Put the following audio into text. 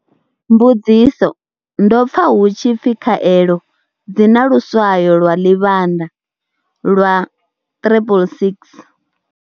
Mbudziso. Ndo pfa hu tshi pfi khaelo dzi na lu swayo lwa Ḽivhandalwa 666.